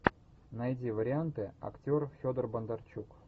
найди варианты актер федор бондарчук